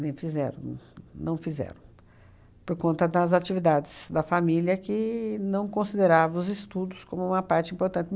fizeram os, não fizeram, por conta das atividades da família que não consideravam os estudos como uma parte importante.